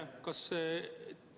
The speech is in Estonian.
Aitäh!